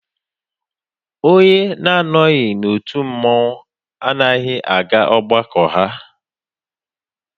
Onye anọghị n'otu mmọnwụ anaghị aga ọgbakọ ha